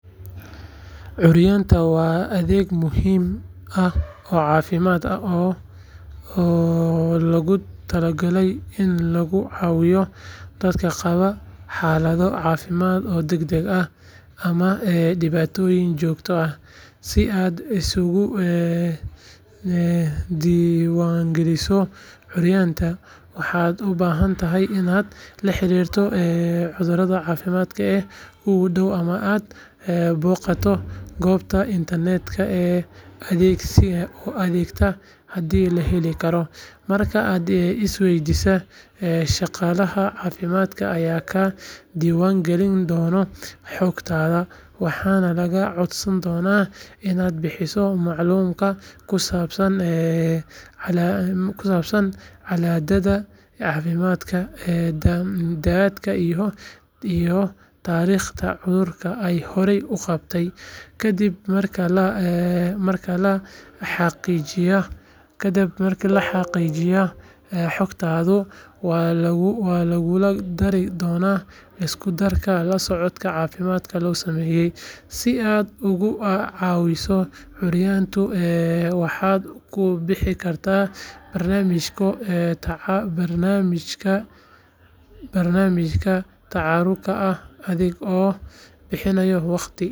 Curyanta waa adeeg muhiim ah oo caafimaad ah oo loogu talagalay in lagu caawiyo dadka qaba xaalado caafimaad oo degdeg ah ama dhibaatooyin joogto ah. Si aad isugu diiwaangeliso curyanta, waxaad u baahan tahay inaad la xiriirto xarunta caafimaadka ee kuugu dhow ama aad booqato goobta internetka ee adeegga haddii la heli karo. Marka aad isdiiwaangeliso, shaqaalaha caafimaadka ayaa kaa diiwaangelin doona xogtaada, waxaana lagaa codsan doonaa inaad bixiso macluumaad kusaabsan xaaladdaada caafimaad, da'daada, iyo taariikhda cudurrada aad horey u qabtay. Ka dib marka la xaqiijiyo xogtaada, waxaa laguugu dari doonaa liiska dadka la socodka caafimaad loogu sameeyo. Si aad uga caawiso curyanta, waxaad ku biiri kartaa barnaamijyada tabaruca ah adiga oo bixinaya waqti.